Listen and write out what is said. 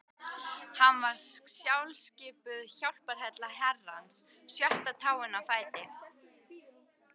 Hann var sjálfskipuð hjálparhella Herrans, sjötta táin á fæti